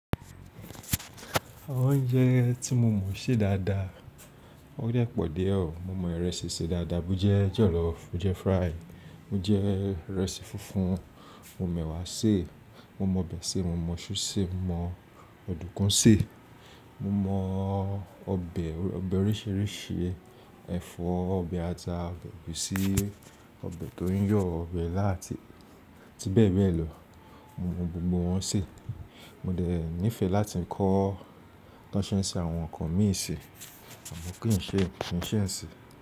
Àwọn oúnjẹ tí mo mọ ṣe dáadáa, ó dẹ́ pọ̀ díẹ̀ ọ̀. Mo mọ ìrẹsì ṣe dáadáa, bo jẹ jọ̀lọ́ọ́fù, bo jẹ fry, bo jẹ ìrẹsì funfun, mo m'ẹwa sèé. Mo mọ ọbẹ̀ ṣe, mo mọ súù sè, mo mọ ọ̀dùnkún sè. Mo mọ ọbẹ̀ oríṣìíríṣìí, ẹ̀fọ́, ọbẹ̀ ata, ọbẹ̀ ẹ̀gúsí, ọbẹ̀ tó ń yọ̀, ọbẹ̀ ilá àti bẹ́ẹ̀ bẹ́ẹ̀ lọ. Mo mọ gbogbo wọn sè. Mo dẹ̀ nífẹ̀ẹ́ láti kọ tí wọ́n ṣé ń ṣe àwọn nǹkan mi sè àmọ́ kí n ṣe, kí n ṣé ńisin.